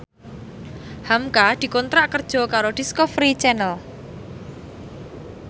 hamka dikontrak kerja karo Discovery Channel